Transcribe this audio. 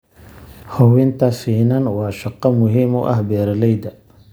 Hubinta finan waa shaqo muhim u ah beeralayda.